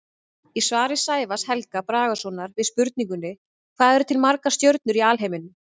Í svari Sævars Helga Bragasonar við spurningunni Hvað eru til margar stjörnur í alheiminum?